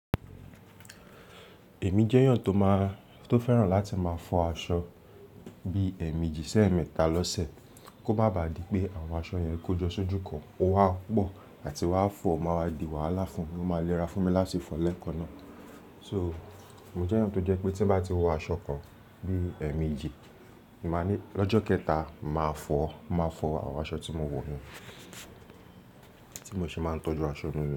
Èmi jẹ́ èèyàn tó máa, tó fẹ́ràn láti máa fọ aṣọ bí ẹ̀ẹ̀mejì sé ẹ̀ẹ̀mẹ́ta lọ́sẹ̀ kó má baà di pé àwọn aṣọ yẹn kójọ sójú kan ó wá pọ̀ àti wá fọ̀ máa wá di wàhálà fún mi, ó máa lera fún mi láti fọ lẹ́ẹ̀kan náà. So, èmi jẹ́ èèyàn tó jẹ́ pé tí bá ti wọ aṣọ kan bí ẹ̀ẹ̀mejì, máa ní lọ́jọ́ kẹta màá fọ̀, máa fọ àwọn aṣọ tí mo wọ̀ ni, tí mo ṣe máa ń tọ́jú aṣọ mi ni.